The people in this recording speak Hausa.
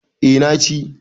eh na ci